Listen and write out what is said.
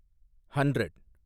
hundred